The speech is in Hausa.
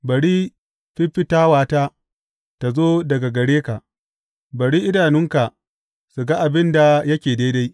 Bari fiffitawata tă zo daga gare ka; bari idanunka su ga abin da yake daidai.